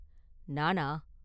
“நானா?